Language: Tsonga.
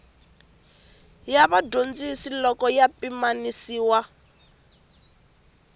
ya vadyondzi loko ya pimanisiwa